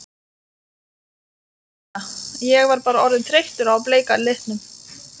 Ég hérna. ég var bara orðinn þreyttur á bleika litnum.